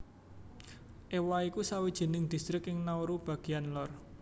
Ewa iku sawijining distrik ing Nauru bagéan lor